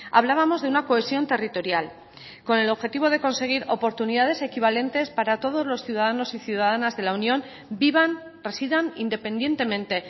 hablábamos de una cohesión territorial con el objetivo de conseguir oportunidades equivalentes para todos los ciudadanos y ciudadanas de la unión vivan residan independientemente